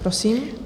Prosím.